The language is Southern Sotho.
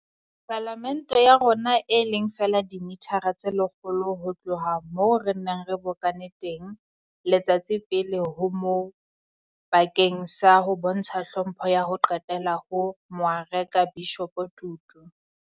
Pala mente ya rona, e leng feela dimithara tse lekgolo ho tloha moo re neng re bokane teng letsatsi pele ho moo bakeng sa ho bontsha tlhompho ya ho qetela ho Moarekabishopo Tutu.